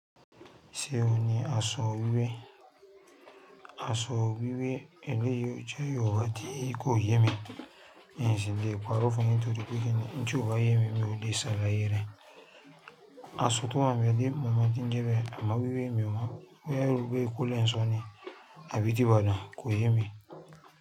Ṣé òní aṣọ wíwé? Aṣọ wíwé, eléyìí jẹ́ oró ti kò yẹ mí. Ìyìnsí mi lè parọ́ fún mi nítorí pé kí ni nǹ kan yóò bá yẹ mí bí mo ṣe le ṣàlàyé rẹ̀. Aṣọ ti haǹ bẹ di mọ̀mọ́ tí ń jẹ bẹ, àmọ́ wíwé mi ọ mọn on ti n jebe, boya eebo ekò lè ń sọ ni, abí ti ibàdàn, kò yẹ mí.